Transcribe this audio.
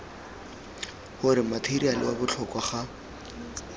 gore matheriale wa botlhokwa ga